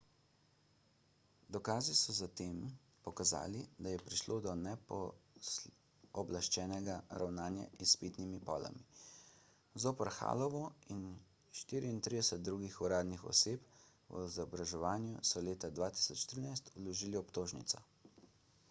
dokazi so zatem pokazali da je prišlo do nepooblaščenega ravnanja z izpitnimi polami zoper hallovo in 34 drugih uradnih oseb v izobraževanju so leta 2013 vložili obtožnico